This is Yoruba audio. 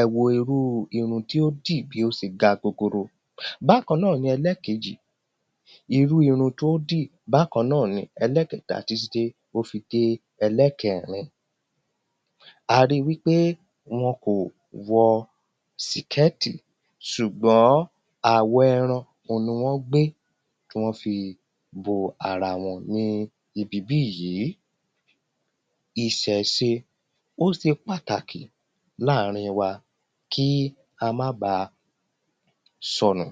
ẹ wo irúu irun tí ó dì bí ó se ga gogoro bákan náà ni ẹlẹ́kejì, irúu irun tó dì bákan náà ni ẹlẹ́kẹtà, títí dé ó fi dé ẹlẹ́kẹrin a ri wí pé wọn kò wọ síkẹ́ẹ́tì sùgbọ́n àwọ̀ ẹran òhun ni wọ́n gbé tí wọ́n fi bo ara wọn ní ibi bíyìí. Ìsẹ̀se ó se pàtàkì láàrin wa kí a má baà sọnù